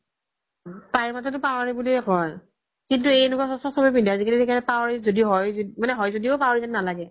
তাইৰ মতে দি তো power ৰি বুলিয়ে কই কিন্তু এনেকুৱা চস্মা চ্বে পিন্ধে আজিকালি power ৰি য্দি হয় মানে হয় য্দিও power ৰি যেন নালাগে